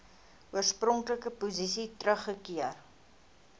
oorspronklike posisie teruggekeer